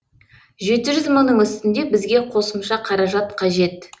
жеті жүз мыңның үстінде бізге қосымша қаражат қажет